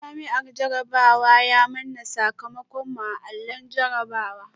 Jami’in jarabawa ya manna sakamakon mu a allon sanarwa